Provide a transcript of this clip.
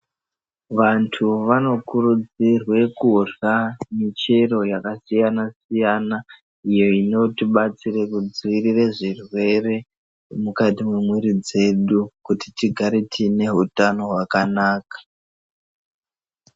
Vantu vanokurudzirwe kurya michero yakasiyanasiyana iyo inotibatsire kudziirire zvirwere mukati mwemiri dzedu kuti tigare tiine hutano hwakanaka.